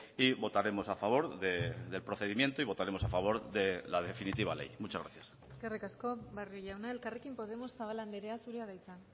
y votaremos a favor del procedimiento y votaremos a favor de la definitiva ley muchas gracias eskerrik asko barrio jauna elkarrekin podemos zabala andrea zurea da hitza